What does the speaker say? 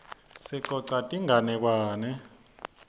sicosa tinganekwane